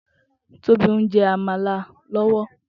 Tobi n jè ámàlá lòwò